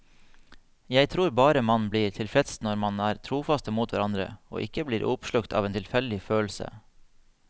Jeg tror bare man blir mest tilfreds når man er trofaste mot hverandre, ikke blir oppslukt av en tilfeldig følelse.